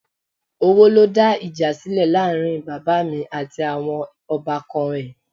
Owó ló dá ìjà sílẹ̀ láàrin bàbá mi àti àwọn ọbànkan ẹ̀